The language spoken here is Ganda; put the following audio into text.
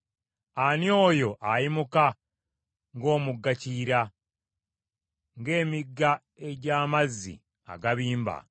“Ani oyo ayimuka ng’omugga Kiyira, ng’emigga egy’amazzi agabimba?